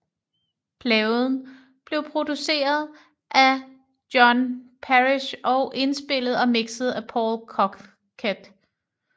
Pladen blev produceret af John Parish og indspillet og mixet af Paul Corkett